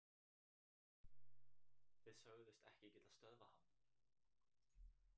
Þið sögðust ekki geta stöðvað hann